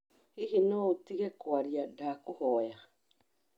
Hihi no ũtige kwaria ndakũhoya?